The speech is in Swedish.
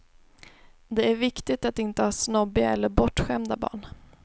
Det är viktigt att inte ha snobbiga eller bortskämda barn.